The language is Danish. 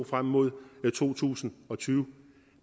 frem mod to tusind og tyve